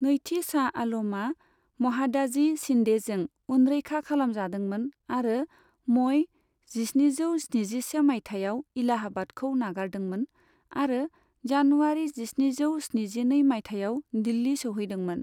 नैथि शाह आलमआ महादाजी शिन्देजों उनरैखा खालाम जादोंमोन आरो मइ जिस्निजौ स्निजिसे मायथाइयाव इलाहाबादखौ नागारदोंमोन आरो जानुवारि जिस्निजौ स्निजिनै मायथाइयाव दिल्ली सहैदोंमोन।